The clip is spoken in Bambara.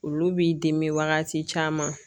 Olu b'i dimi wagati caman